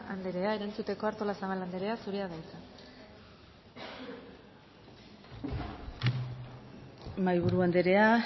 anderea erantzuteko artolazabal anderea zurea da hitza mahaiburu andrea